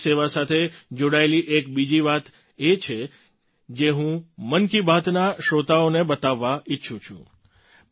police સેવા સાથે જોડાયેલી એક બીજી વાત છે જે હું મન કી બાતના શ્રોતાઓને બતાવવા ઈચ્છું છું